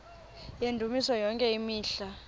yendumiso yonke imihla